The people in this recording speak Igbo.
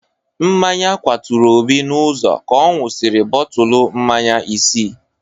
Mmanya kwaturu Obi n'ụzọ ka ọ ṅụsịrị bọtụlụ mmanya isi.